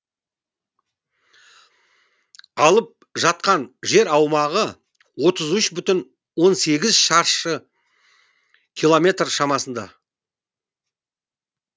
алып жатқан жер аумағы отыз үш бүтін он сегіз шаршы километр шамасында